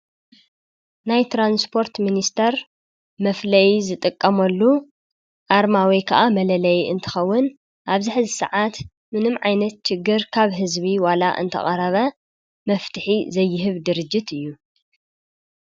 ናይ ትራንስፖርት ሚኒስቴር መፍለዪ ዝጥቀመሉ አርማ ወይ ከዓ መለለዪ እንትኸዉን አብዚ ሐዚ ሰዓት ምንም ዓይነት ችግር ካብ ህዝቢ ዋላ እንተቀረበ መፍትሒ ዘይህብ ድርጅት እዪ ።